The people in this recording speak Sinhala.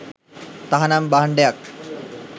තහනම් භාණ්‌ඩයක්